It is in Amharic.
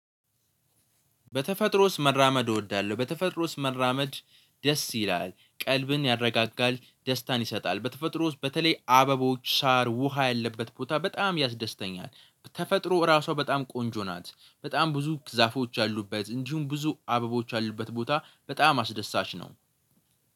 በተፈጥሮ ውስጥ መራመድ እወዳለሁ በተፈጥሮ ውስጥ መራመድ ደስ ይላል ቀልብን ያረጋጋል ደስታን ይሰጣል። በተፈጥሮ ውስጥ በተለይ አበቦች ሳር ውሃ ያለበት ቦታ በጣም ያስደስተኛል። ተፈጥሮ ራሷ በጣም ቆንጆ ናት። በጣም ብዙ ዛፎች ያሉበት እንዲሁም ብዙ አበቦች ያሉበት ቦታ በጣም አስደሳች ነው።